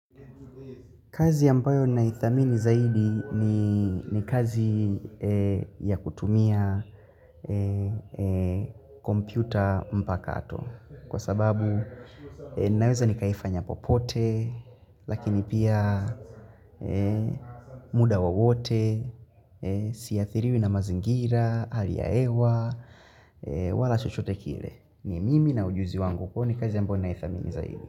Kazi yambayo naithamini zaidi ni ni kazi ya kutumia kompyuta mpakato. Kwa sababu naweza ni kaifanya popote, lakini pia muda wawote, siathiriwi na mazingira, hali ya hewa, wala chochote kile. Ni mimi na ujuzi wangu kwa ni kazi ambayo naithamini zaidi.